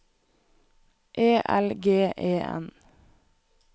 E L G E N